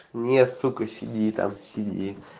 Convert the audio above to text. нет сука сиди там сиди